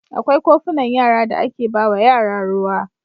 Akwai kofunan yara da ake ba wa yara ruwa.